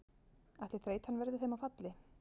Ætli þreytan verði þeim að falli?